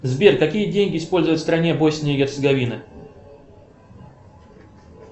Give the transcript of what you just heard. сбер какие деньги используют в стране босния и герцеговина